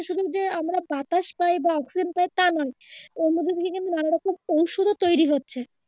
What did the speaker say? যে আমরা বাতাস পাই বা অক্সিজেন পাই তা নয় ওর মধ্য থেকে কিন্তু নানা রকম ঔষধ ও তৈরি হচ্ছে